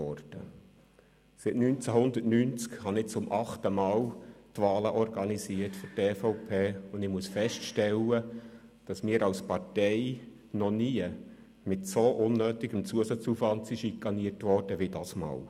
Seit 1990 habe ich zum achten Mal für die EVP die Wahlen organisiert, und ich muss feststellen, dass wir als Partei noch nie mit so viel unnötigem Zusatzaufwand schikaniert worden sind wie dieses Mal.